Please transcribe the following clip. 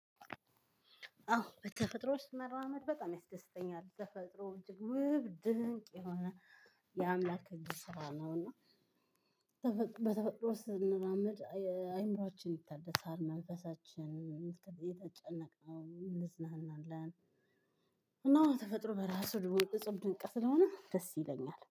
አዎ በተፈጥሮ ውስጥ መራመድ በጣም ያስደስተኛል። ተፈጥሮ እጅግ ውብ ድንቅ የሆነ የአምላክ እጅ ስራ ነው እና በተፈጥሮ ውስጥ ስንራመድ አይምሮአችን ይታደሳል መንፈሳችን የተ የተጨነቅነው እዝናናለን እና ተፈጥሮ በራሱ ድብቅ እፁብ ድንቅ ስለሆነ ደስ ይለኛል።